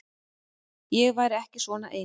Ég væri ekki svona ein.